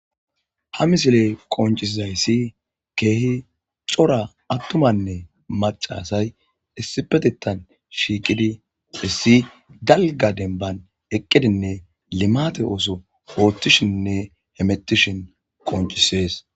Ha misiley qoncisizayssi keehi cora attumanne macasay issipetetan shiiqidi hissi galga denban eqqidinne limate ooso oothtishinne hemetishin qoncisees.